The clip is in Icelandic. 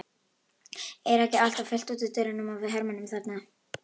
Er ekki alltaf fullt út úr dyrum af hermönnum þarna?